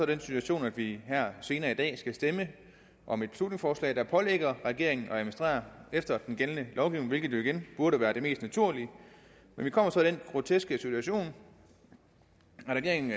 den situation at vi her senere i dag skal stemme om et beslutningsforslag der pålægger regeringen at administrere efter den gældende lovgivning hvilket jo igen burde være det mest naturlige men vi kommer så i den groteske situation at regeringen